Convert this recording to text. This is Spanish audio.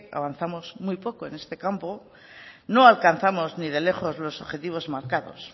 avanzamos muy poco en este campo no alcanzamos ni de lejos los objetivos marcados